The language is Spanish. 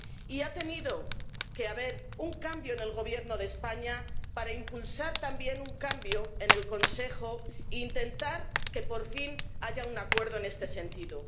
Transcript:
Y ha tenido que haber un cambio en el Gobierno de España para impulsar también un cambio en el Consejo e intentar que por fin haya un acuerdo en este sentido.